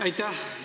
Aitäh!